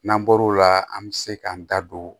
N'an bɔr'o la an bɛ se k'an da don